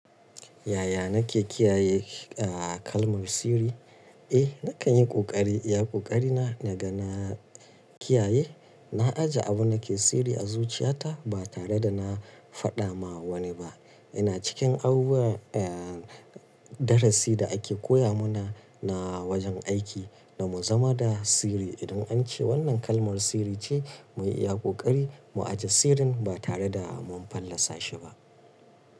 Yaya nake kiyaye, ah, kalmar sirri? Eh, na kan yi ƙoƙari iya ƙoƙari na ga na kiyaye. Na ajiye abin da ke sirri a zuciyata ba tare da na faɗa ma wani ba. Ina cikin abubuwa, eh, darasi da ake koya mana na wajen aiki da mu zama da sirri. Idan an ce wannan kalmar sirri ce mu yi iya ƙoƙari mu ajiye sirrin ba tare da mun fallasa shi ba.